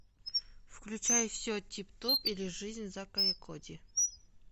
включай все тип топ или жизнь зака и коди